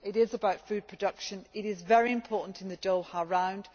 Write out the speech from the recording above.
This is about food production, and it is very important in the Doha